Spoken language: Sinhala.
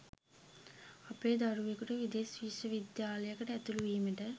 අපේ දරුවෙකුට විදෙස් විශ්ව විද්‍යාලයකට ඇතුළු වීමට